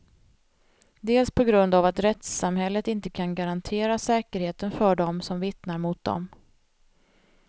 Dels på grund av att rättssamhället inte kan garantera säkerheten för dem som vittnar mot dem.